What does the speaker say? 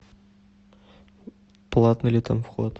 платный ли там вход